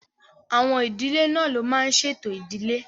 Àwọn ìdílé náà ló máa n ṣe ètò ìdílé